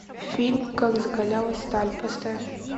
фильм как закалялась сталь поставь